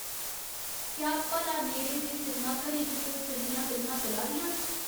क्या भला नेड़े दे सिनमाघरें च कोई चंगियां फिल्मां चला दियां न